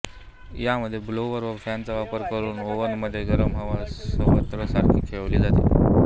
यामध्ये ब्लोअर व फॅनचा वापर करून ओव्हनमध्ये गरम हवा सर्वत्र सारखी खेळवली जाते